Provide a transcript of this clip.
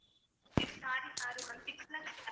okay sorry sorry ma'am six lakhs கிட்ட